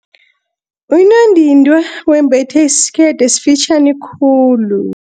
Unondindwa wembethe isikete esifitjhani khulu.